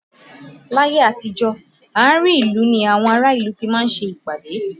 Láyé àtijó, àárín ìlú ni àwọn ará ìlú ti máa ń ṣe ìpàdé